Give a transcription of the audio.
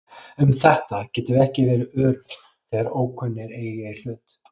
Um þetta getum við ekki verið örugg þegar ókunnugir eiga í hlut.